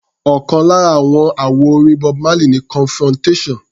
Ọ̀kan lára àwọn àwo-orin Bob Marley ni Confrontation.